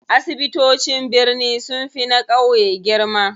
Asibitocin birni sunfi na ƙauye girma.